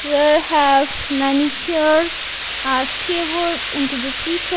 where have many chairs or stable into the .